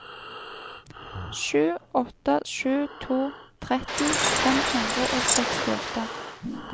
sju åtte sju to tretti fem hundre og sekstiåtte